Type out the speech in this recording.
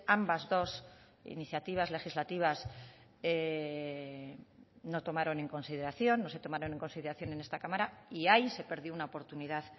ambas dos iniciativas legislativas no tomaron en consideración no se tomaron en consideración en esta cámara y ahí se perdió una oportunidad